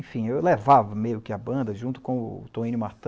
Enfim, eu levava meio que a banda, junto com o Toninho Martã,